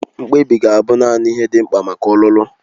Mkpebi ga-abụ naanị ihe dị mkpa maka ọlụlụ.